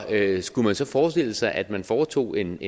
andet skulle man så forestille sig at man foretog en